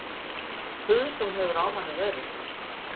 Puð sem hefur á manni verið